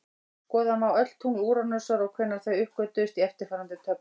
Skoða má öll tungl Úranusar og hvenær þau uppgötvuðust í eftirfarandi töflu: